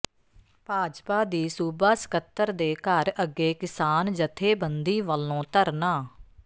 ਭਾਜਪਾ ਦੀ ਸੂਬਾ ਸਕੱਤਰ ਦੇ ਘਰ ਅੱਗੇ ਕਿਸਾਨ ਜਥੇਬੰਦੀ ਵੱਲੋਂ ਧਰਨਾ